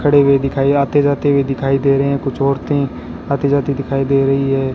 खड़े हुए दिखाई आते जाते हुए दिखाई दे रहे हैं कुछ औरतें आती जाती दिखाई दे रही है।